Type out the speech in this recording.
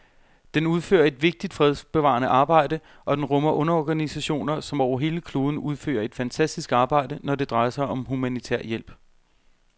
Den udfører et vigtigt fredsbevarende arbejde, og den rummer underorganisationer, som over hele kloden udfører et fantastisk arbejde, når det drejer sig om humanitær hjælp.